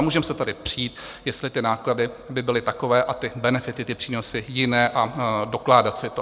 A můžeme se tady přít, jestli ty náklady by byly takové a ty benefity, ty přínosy, jiné, a dokládat si to.